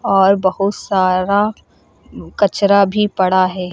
और बहुत सारा कचरा भी पड़ा है।